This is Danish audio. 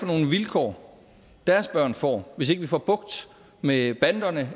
for nogle vilkår deres børn får hvis ikke vi får bugt med banderne